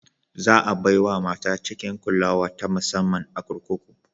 Za a bai wa mata cikin kulawa ta musamman a kurkuku.